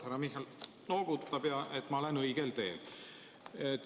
Härra Michal noogutab, järelikult ma olen õigel teel.